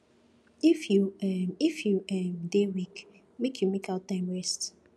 if you um if you um dey weak make you make out time rest